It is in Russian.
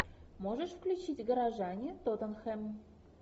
можешь включить горожане тоттенхэм